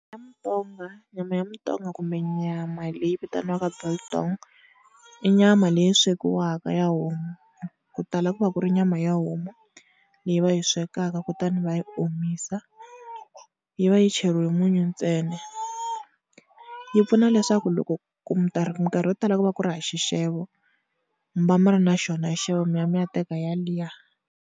Ya mutonga nyama ya mutonga kumbe nyama leyi vitaniwaka biltong i nyama leyi swekiwaka ya homu, ku tala ku va ku ri nyama ya homu leyi va yi swekaka kutani va yi omisa yi va yi cheriwe munyu ntsena. Yi pfuna leswaku loko ku minkarhi yo tala ku va ku ri hava xixevo, mi va mi ri na xona xixevo mi ya mi ya teka yaliya.